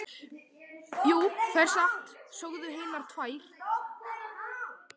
Jú, það er satt, sögðu hinar tvær.